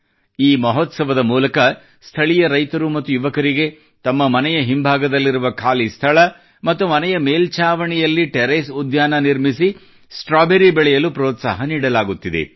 ಈ ಮಹೋತ್ಸವದ ಮೂಲಕ ಸ್ಥಳೀಯ ರೈತರು ಮತ್ತು ಯುವಕರಿಗೆ ತಮ್ಮ ಮನೆಯ ಹಿಂಭಾಗದಲ್ಲಿರುವ ಖಾಲಿ ಸ್ಥಳ ಮತ್ತು ಮನೆಯ ಮೇಲ್ಛಾವಣಿಯಲ್ಲಿ ಟೆರೇಸ್ ಉದ್ಯಾನ ನಿರ್ಮಿಸಿ ಸ್ಟ್ರಾಬೆರಿ ಬೆಳೆಯಲು ಪ್ರೋತ್ಸಾಹ ನೀಡಲಾಗುತ್ತಿದೆ